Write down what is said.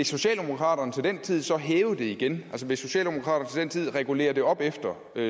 socialdemokraterne til den tid så vil hæve det igen altså vil socialdemokraterne til regulere det opad